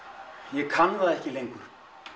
ég kann það ekki lengur